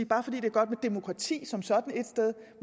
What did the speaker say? bare fordi det er godt med demokrati som sådan ét sted